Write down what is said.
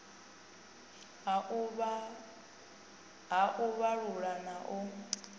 ha u vhalula na u